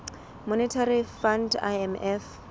monetary fund imf